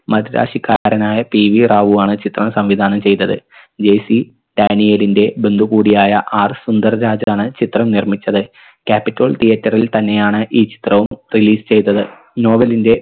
മദിരാസിക്കാരനായ PV Rao ആണ് ചിത്രം സംവിധാനം ചെയ്തത് JC ഡാനിയേലിൻറെ ബന്ധു കൂടിയായ R സുന്ദർ രാജാണ് ചിത്രം നിർമ്മിച്ചത് capitol theatre ൽ തന്നെയാണ് ഈ ചിത്രവും release ചെയ്തത് novel ൻറെ